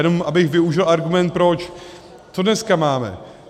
Jenom abych využil argument proč - co dneska máme?